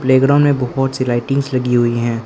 Playground में बहुत सी लाइटिंगस लगी हुई हैं।